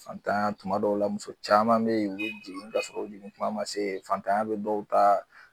Fatan tuma dɔw la muso caman be jigin k'a sɔrɔ kuma ma se fantanya be dɔw ta